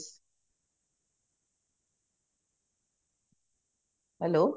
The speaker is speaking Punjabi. hello